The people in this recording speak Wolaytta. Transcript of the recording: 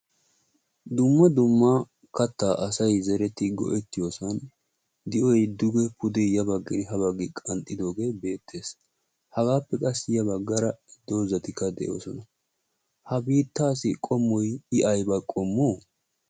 dumma dumma kattaa asay zereti go"ettiyoosan de"oy duge pude ya bagginne ha baggi qanxxidoogee beettees hagaappe qassi ya baggara dozatikka de'oosona ha biittaassi qommoy aybba qommo